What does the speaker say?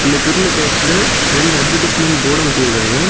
இந்த க்ரில் கேட்ல ரெண்டு அட்வெர்ட்டிஸ்மென்ட் போர்டு ஓடிருக்காங்க.